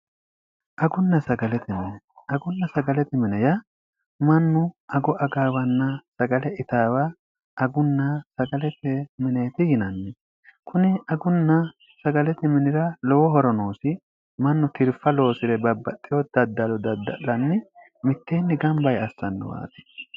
agunna sagaleti mine ya mannu ago'a gaawanna sagale itaawa agunna sagaleti mineeti ginanni kuni agunna sagaleti minira lowo horonoosi mannu tirfa loosi're babbaxxeo daddalo dadda'lanni mitteenni gambaye assannuwaati